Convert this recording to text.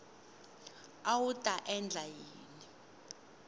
a wu ta endla yini